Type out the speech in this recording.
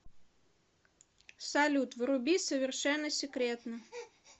салют вруби совершенно секретно